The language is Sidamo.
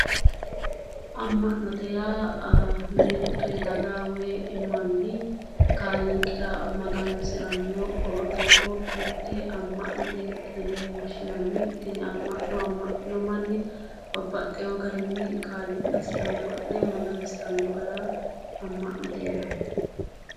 Ama'note yaa mite daga woyi manni kaaliiqira magansirano mite ama'note yinne woshshinanni tini ama'no ,ama'nino manni babbaxino garinni kaaliiqasi ama'ne magansiranni gara ama'note yinnanni.